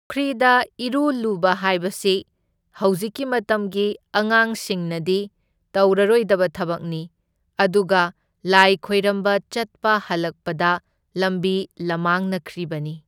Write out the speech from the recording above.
ꯄꯨꯈ꯭ꯔꯤꯗ ꯏꯔꯨꯂꯨꯕ ꯍꯥꯏꯕꯁꯤ ꯍꯧꯖꯤꯛꯀꯤ ꯃꯇꯝꯒꯤ ꯑꯉꯥꯡꯁꯤꯡꯅꯗꯤ ꯇꯧꯔꯔꯣꯏꯗꯕ ꯊꯕꯛꯅꯤ, ꯑꯗꯨꯒ ꯂꯥꯏ ꯈꯣꯏꯔꯝꯕ ꯆꯠꯄ ꯍꯜꯂꯛꯄꯗ ꯂꯝꯕꯤ ꯂꯝꯃꯥꯡꯅꯈ꯭ꯔꯤꯕꯅꯤ꯫